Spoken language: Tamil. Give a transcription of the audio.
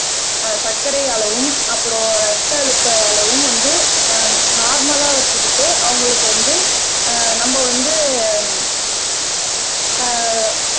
ஆஹ் சர்க்கரை அளவும் அப்புறம் ரத்த அழுத்த அளவும் வந்து அஹ் நார்மல்லா வச்சுக்கிட்டு அவங்களுக்கு வந்து அஹ் நம்ம வந்து ஆஹ்